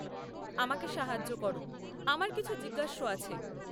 আমাকে সাহায্য কর, আমার কিছু জিজ্ঞাস্য আছে।